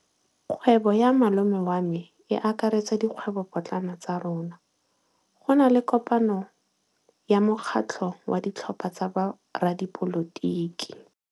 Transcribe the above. Kgwêbô ya malome wa me e akaretsa dikgwêbôpotlana tsa rona. Go na le kopanô ya mokgatlhô wa ditlhopha tsa boradipolotiki.